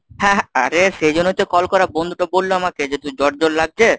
হ্যাঁ আরে সেই জন্যই তো কল করা বন্ধুটা বলল আমাকে যে তুই জ্বর জ্বর লাগছে।